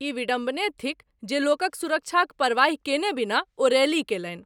ई विडम्बने थिक जे लोकक सुरक्षाक परवाहि केने बिना ओ रैली केलनि।